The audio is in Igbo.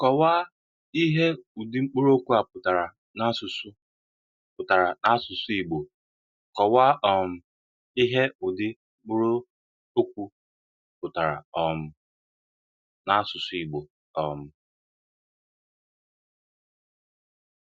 Kọ̀wáà ihe ùdị̀ mkpụrụ́okwu pụtara n’ásụsụ́ pụtara n’ásụsụ́ Ìgbò.Kọ̀wáà um ihe ùdị̀ mkpụrụ́okwu pụtara um n’ásụsụ́ Ìgbò. um